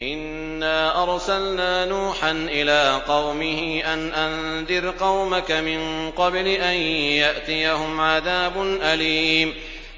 إِنَّا أَرْسَلْنَا نُوحًا إِلَىٰ قَوْمِهِ أَنْ أَنذِرْ قَوْمَكَ مِن قَبْلِ أَن يَأْتِيَهُمْ عَذَابٌ أَلِيمٌ